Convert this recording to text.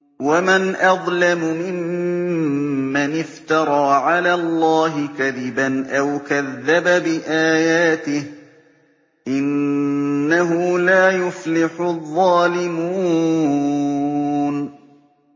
وَمَنْ أَظْلَمُ مِمَّنِ افْتَرَىٰ عَلَى اللَّهِ كَذِبًا أَوْ كَذَّبَ بِآيَاتِهِ ۗ إِنَّهُ لَا يُفْلِحُ الظَّالِمُونَ